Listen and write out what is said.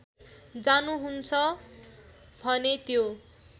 जान्नुहुन्छ भने त्यो